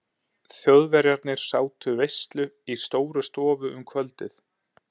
Þjóðverjarnir sátu veislu í Stórustofu um kvöldið.